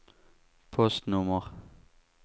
postnummer